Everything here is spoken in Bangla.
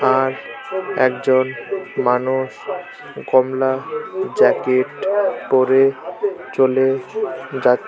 আর একজন মানুষ কমলা জ্যাকেট পরে চলে যাচ্ছে।